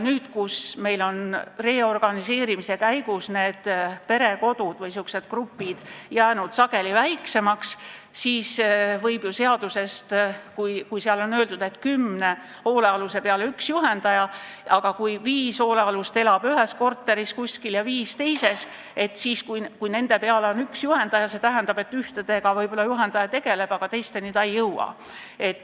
Nüüd on reorganiseerimise käigus need perekodud või grupid jäänud sageli väiksemaks ja kui seaduses on öeldud, et kümne hoolealuse peale peab olema üks juhendaja, ning kui viis hoolealust elab ühes korteris ja viis teises ning neil on üks juhendaja, siis see tähendab, et ühtedega võib-olla juhendaja tegeleb, aga teistega ta tegelda ei jõua.